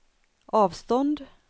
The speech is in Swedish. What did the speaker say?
avstånd